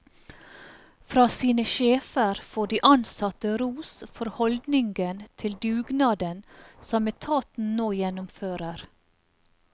Fra sin sjefer får de ansatte ros for holdningen til dugnaden som etaten nå gjennomfører.